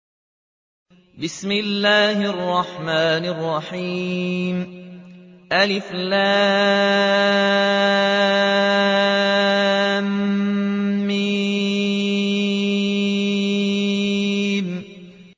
الم